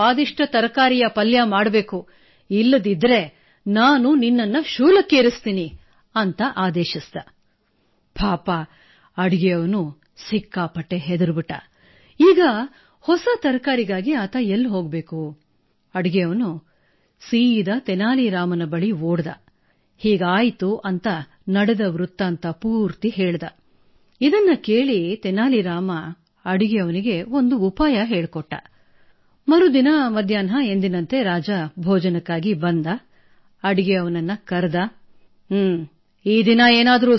sir I grew up listening to stories from my grandfather